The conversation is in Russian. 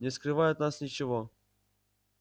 не скрывай от нас ничего